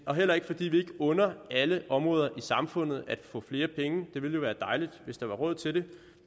og heller ikke fordi vi ikke under alle områder i samfundet at få flere penge det ville jo være dejligt hvis der var råd til det